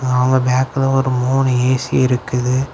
அவங்க பேக்குல ஒரு மூணு ஏ_சி இருக்குது.